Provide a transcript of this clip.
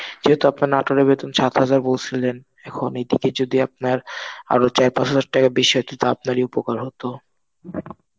যেহেতু আপনার নাটোরের বেতন সাত হাজার বলছিলেন. এখন এদিকে যদি আপনার আরো চার পাঁচ হাজার টাকা বেশি হয় তো আপনারই উপকার হতো.